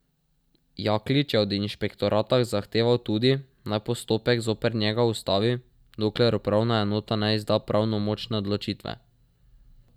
Jaklič je od inšpektorata zahteval tudi, naj postopek zoper njega ustavi, dokler upravna enota ne izda pravnomočne odločitve.